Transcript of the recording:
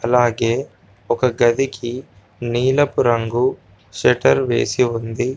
అలాగే ఒక గదికి నీలపు రంగు షెటర్ వేసి ఉంది.